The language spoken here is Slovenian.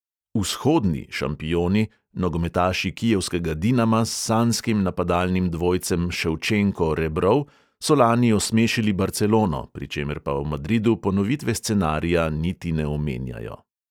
"Vzhodni" šampioni, nogometaši kijevskega dinama s sanjskim napadalnim dvojcem ševčenko-rebrov so lani osmešili barcelono, pri čemer pa v madridu ponovitve scenarija niti ne omenjajo.